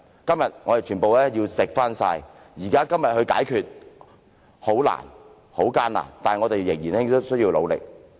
今天，我們要全然承受，雖然現在要解決這些問題很難、很艱難，但我們仍須努力。